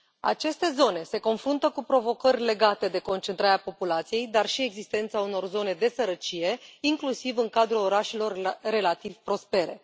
Aceste zone se confruntă cu provocări legate de concentrarea populației, dar și de existența unor zone de sărăcie, inclusiv în cadrul orașelor relativ prospere.